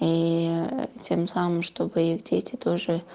и тем самым чтобы их дети тоже